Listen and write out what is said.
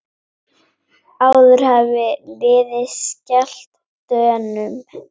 Áður hafði liðið skellt Dönum.